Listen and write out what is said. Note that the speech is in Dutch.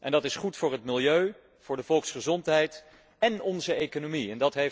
Dat is goed voor het milieu, voor de volksgezondheid en onze economie.